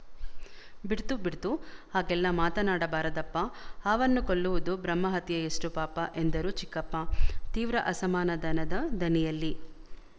ಬಿಡ್ತು ಬಿಡ್ತು ಹಾಗೆಲ್ಲ ಮಾತನಾಡಬಾರದಪ್ಪ ಹಾವನ್ನು ಕೊಲ್ಲುವುದು ಬ್ರಹ್ಮಹತ್ಯೆಯಷ್ಟು ಪಾಪ ಎಂದರು ಚಿಕ್ಕಪ್ಪ ತೀವ್ರ ಅಸಮಾಧಾನದ ದನಿಯಲ್ಲಿ